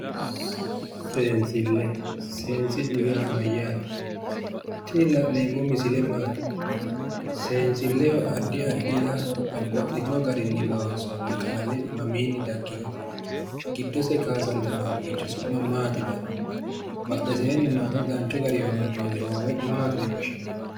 Seensille. Seensillu yaa mayyaate? Tini la'neemmo misile maati? Seensilleho addi addiha babbaxxino garinni loonsoonni qalame mamiinni daggiwote? Giddose kaasantino haqqicho su'ma maati yinanni? Badheseenni noota danchu garinni hoomboonni hoowe maati yine woshshinanni?